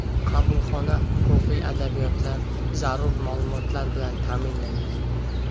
Qabulxona huquqiy adabiyotlar, zarur ma’lumotlar bilan ta’minlangan.